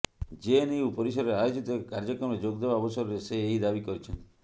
JNU ପରିସରରେ ଆୟୋଜିତ ଏକ କାର୍ଯ୍ୟକ୍ରମରେ ଯୋଗଦେବା ଅବସରରେ ସେ ଏହି ଦାବି କରିଛନ୍ତି